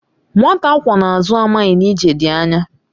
Nwata akwọ n'azụ amaghị na ije dị anya